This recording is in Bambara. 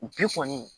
Bi kɔni